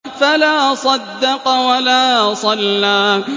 فَلَا صَدَّقَ وَلَا صَلَّىٰ